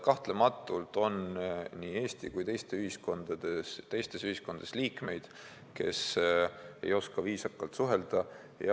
Kahtlematult on nii Eesti kui teistes ühiskondades liikmeid, kes ei oska viisakalt suhelda.